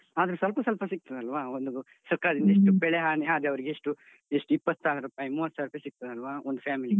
ಆದ್ರೆ ಸ್ವಲ್ಪ ಸ್ವಲ್ಪ ಸಿಗ್ತದಲ್ವ? ಒಂದು ಸರ್ಕಾರದಿಂದ ಇಷ್ಟು ಬೆಳೆ ಹಾನಿ ಆದವರಿಗಿಷ್ಟು ಎಷ್ಟು ಇಪ್ಪತ್ತು ಸಾವಿರ ರೂಪಾಯಿ, ಮೂವತ್ತು ಸಾವಿರ ರೂಪಾಯಿ ಸಿಗ್ತದಲ್ವ? ಒಂದು family ಗೆ.